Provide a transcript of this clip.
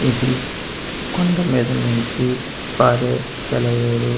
ఇది కొండ మీద నుంచి పారే సెలయేరు ఇ--